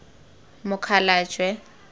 mokgalajwe